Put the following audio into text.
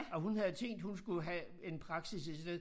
Og hun havde tænkt hun skulle have en praksis et sted